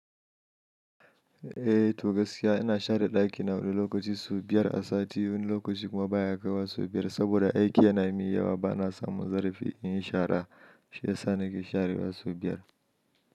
Eh, to gaskiya ina share ɗaki na wani lokaci sau biyar a sati, wani lokaci kuma baya kaiwa sau biyar saboda aiki yana yi min yawa, bana samun zarafi in yi shara. Shi ya sa nake sharewa sau biyar.